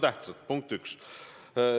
See oli punkt 1.